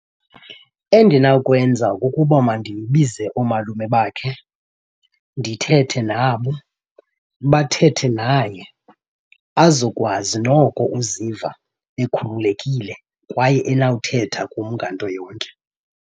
Endinawukwenza kukuba mandibize oomalume bakhe ndithethe nabo bathethe naye, azokwazi noko uziva ekhululekile kwaye enawuthetha kum nganto yonke.